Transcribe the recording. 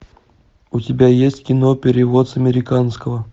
у тебя есть кино перевод с американского